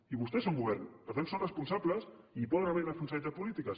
i vostès són govern per tant són responsables i hi poden haver irresponsabilitats polítiques